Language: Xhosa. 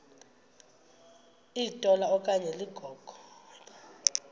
litola okanye ligogo